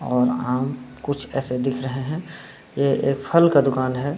और आम कुछ ऐसे दिख रहे हैं ये एक फल का दूकान है।